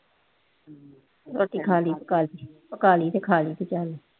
ਰੋਟੀ ਖਾ ਲਈ ਪਕਾ ਲਈ, ਪਕਾ ਲਈ ਅਤੇ ਖਾ ਲਈ